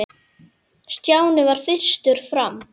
Stjáni varð fyrstur fram.